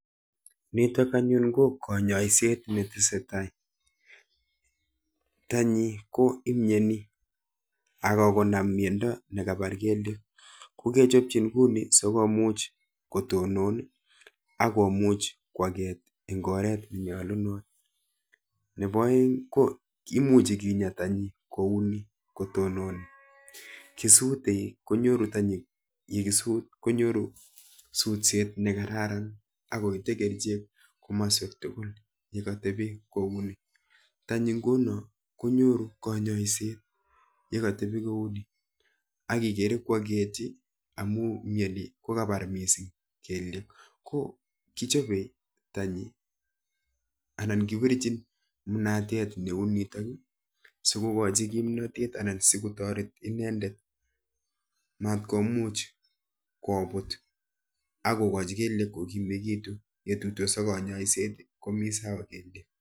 Nitok anyun ko kanyoiset netesetai. Tanyi ko imieni akokonam miendo ne kapar kelyek ko kechopchin kuni sikomuch kotonon akomuch koaket eng oret nekararan. Nepo oeng ko imuchi kinya tanyi kouni kotononi, kisute konyoru tanyi yekisut konyoru sutset nekararan akoite kerichek komaswek tukul yekatepi kouni. Tanyi nguno konyoru kanyoiset yekatepi kouni akikere kwaketi amu mieni ko kapar mising kelyek ko kichope tanyi anan kipirchin mnatet neu nitok sikokochi kimnotet anan sikotoret inendet matkomuch kobut akokochi kelyek kokimekitu, yetuitos ak kanyoiset komi sawa kelyek.